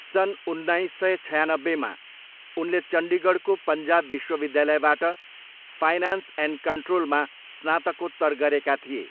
सन् उन्नाइस सय छयानब्बेमा उनले चण्डीगढको पन्जाब विश्वविद्यालयबाट फाइनान्स एन्ड कन्ट्रोलमा स्नातकोत्तर गरेका थिए।